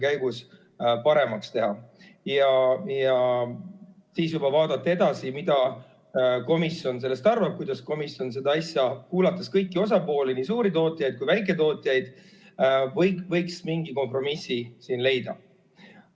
Ja siis juba vaadata edasi, mida komisjon sellest arvab, kuidas komisjon, kuulates kõiki osapooli, nii suurtootjaid kui väiketootjaid, võiks mingi kompromissi siin leida.